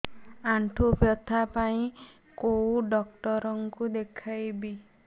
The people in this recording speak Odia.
ଆଣ୍ଠୁ ବ୍ୟଥା ପାଇଁ କୋଉ ଡକ୍ଟର ଙ୍କୁ ଦେଖେଇବି